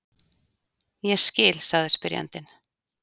Ég skil, sagði spyrjandinn.